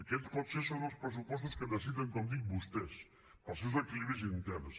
aquests potser són els pressupostos que necessiten com dic vostès per als seus equilibris interns